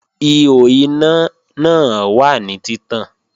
Ihò iná náà wà ní títàn